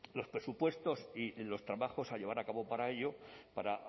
los presupuestos y los trabajos a llevar a cabo para ello para